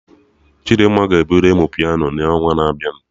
Chidimma ga-ebido ịmụ Piano na onwa na abịa